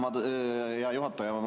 Aitäh, hea juhataja!